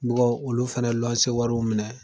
olu fana wariw minɛ.